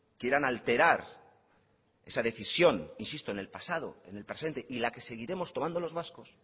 quieran alterar esa decisión insisto en el pasado en el presente y la que seguiremos tomando los vascos